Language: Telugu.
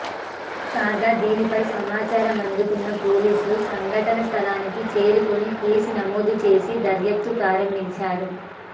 కాగా దీనిపై సమాచారం అందుకున్న పోలీసులు సంఘటన స్థలానికి చేరుకొని కేసు నమోదు చేసి దర్యాప్తు ప్రారంభించారు